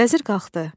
Vəzir qalxdı.